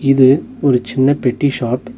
இது ஒரு சின்ன பெட்டி ஷாப் .